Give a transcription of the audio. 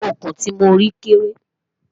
òkun tí mọ rí kéré